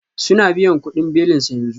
Suna biyan kudin belinsa yanzu